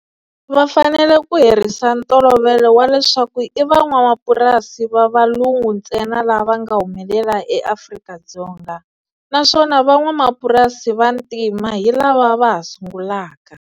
Va fanele ku herisa ntolovelo wa leswaku i van'wamapurasi va valungu ntsena lava nga humelela eAfrika-Dzonga, naswona van'wamapurasi va vantima hi lava va ha sungulaka.